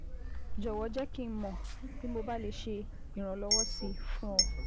Jọ̀wọ́ jẹ́ kí n mọ̀ bí mo bá lè ṣe ìrànlọ́wọ́ sí i fún ọ